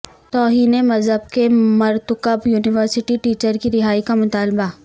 توہین مذہب کے مرتکب یونیورسٹی ٹیچر کی رہائی کا مطالبہ